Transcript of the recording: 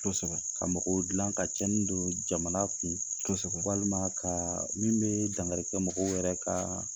Kosɛbɛ k a mɔgɔw dilan ka cɛni don jamana kun kosɛbɛ walima kaa min bɛ dankarikɛ mɔgɔw wɛrɛ kaa